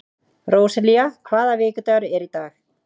Róselía, hvaða vikudagur er í dag?